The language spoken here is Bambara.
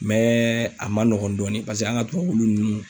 Mɛ a ma nɔgɔn dɔɔnin, paseke an ka tubabu wulu ninnu